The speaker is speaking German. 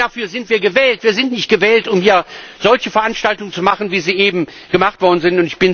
Dafür sind wir gewählt! Wir sind nicht gewählt, um hier solche Veranstaltungen zu machen, wie sie eben gemacht worden sind.